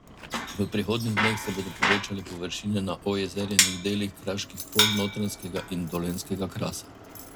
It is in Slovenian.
V prihodnjih dneh se bodo povečale površine na ojezerjenih delih kraških polj notranjskega in dolenjskega krasa.